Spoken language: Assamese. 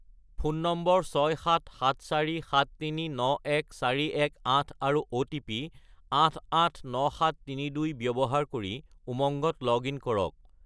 ফোন নম্বৰ 67747391418 আৰু অ'টিপি 889732 ব্যৱহাৰ কৰি উমংগত লগ-ইন কৰক।